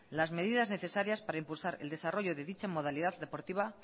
las medidas necesarias para impulsar el desarrollo de dicho modalidad deportiva